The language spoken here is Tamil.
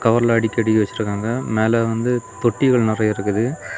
கவர்ல அடுக்கி அடுக்கி வெச்சிருக்காங்க மேல வந்து தொட்டிகள் நெறைய இருக்குது.